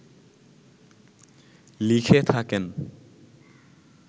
লিখে থাকেন